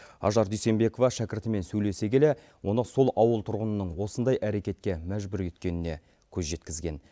ажар дүйсенбекова шәкіртімен сөйлесе келе оны сол ауыл тұрғынының осындай әрекетке мәжбүр еткеніне көз жеткізген